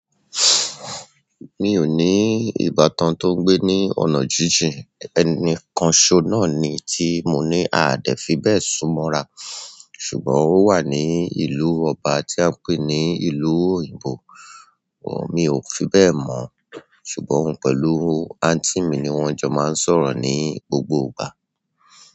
Mi ò ní ìbátan tó ń gbé ní ọ̀nà jíjìn, ẹnìkan ṣọ náà ni tí mo ní ào dè fi bẹ̀ sún mọ́ra, ṣùgbọ́n ó wà ní ìlú ọba tí a ń pè ní ìlú òyìnbó. Mi ò fi bẹ́ẹ̀ mọ̀, ṣùgbọ́n oun pẹ̀lú anti mi ni wọ́n jọ máa ń sọ̀rọ̀ ní gbogbo ìgbà.